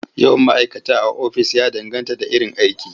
Yawan ma'kata a ofis ya danganta da iron aiki..